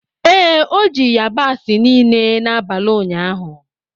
Ee, o ji yabasị niile n'abalị ụnyaahụ.